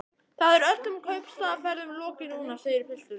Það er öllum kaupstaðarferðum lokið núna, segir pilturinn.